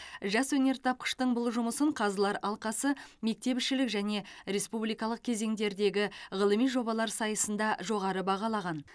жас өнертапқыштың бұл жұмысын қазылар алқасы мектепішілік және республикалық кезеңдердегі ғылыми жобалар сайысында жоғары бағалаған